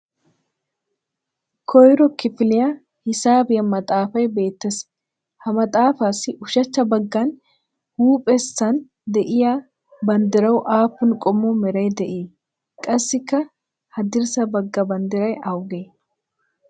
Koyro kifiliya hisaabiyaa maxaafay beetees ha maxaafassi ushachcha bagan huuphessan de'iya banddirawu aapun qommo meray de'ii? Qassikka haddirssa baga banddiray awaage?